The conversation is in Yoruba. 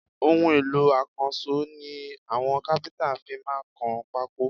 Ohun èlò akanṣo ni àwọn kafinta fí máa kan pako